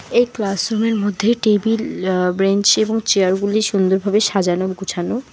এই class room -এর মধ্যে টেবিল আঃ ব্রেঞ্চ এবং চেয়ার -গুলি সুন্দরভাবে সাজানো গুছানো।